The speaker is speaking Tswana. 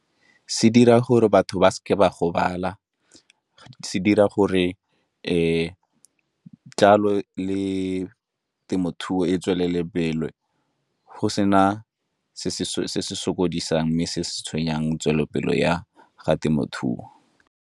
Se dira gore batho ba seke ba gobala, se dira gore jalo le temothuo e tswelele pele, go sena se se sokodisa mme se se tshwenyang tswelelopele ya ga temothuo.